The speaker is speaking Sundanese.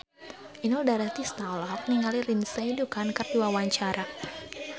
Inul Daratista olohok ningali Lindsay Ducan keur diwawancara